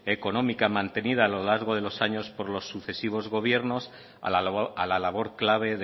económica mantenida a lo largo de los años por los sucesivos gobiernos a la labor clave